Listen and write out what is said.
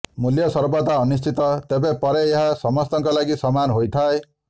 ମୂଲ୍ୟ ସର୍ବଦା ଅନିଶ୍ଚିତ ତେବେ ପରେ ଏହା ସମସ୍ତଙ୍କ ଲାଗି ସମାନ ହୋଇଥାଏ